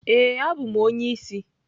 Ee, abụ m onye isi.